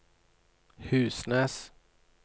Husnes